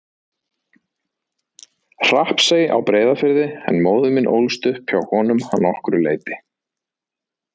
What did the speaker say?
Hrappsey á Breiðafirði en móðir mín ólst upp hjá honum að nokkru leyti.